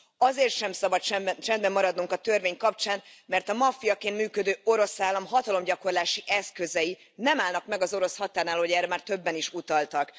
Azért sem szabad csendben maradunk a törvény kapcsán, mert a maffiaként működő orosz állam hatalomgyakorlási eszközei nem állnak meg az orosz határnál, ahogy erre már többen is utaltak.